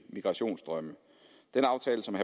migrationsstrømme den aftale som